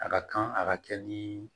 A ka kan a ka kɛ ni